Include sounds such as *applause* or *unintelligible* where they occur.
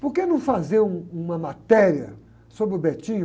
Por que não fazer um, uma matéria sobre o? *unintelligible*